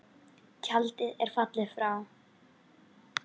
Tjaldið er fallið og frá.